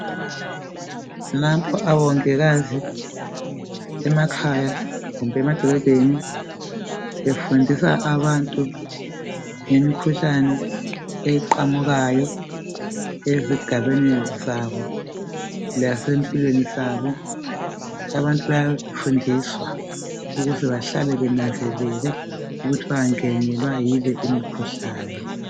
Nampa omongikazi emakhaya kumbe emadolobheni befundisa abantu ngemikhuhlane eqhamukayo ezigabeni zabo lase mpilweni zabo bayafundisa ukubana behlale benanzelela ukuthi bengangenwa yile imikhuhlane